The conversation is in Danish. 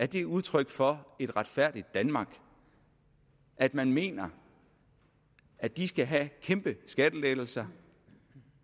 det er udtryk for et retfærdigt danmark at man mener at de skal have kæmpe skattelettelser